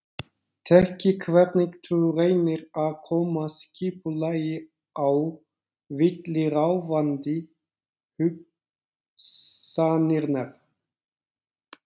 Þekki hvernig þú reynir að koma skipulagi á villuráfandi hugsanirnar.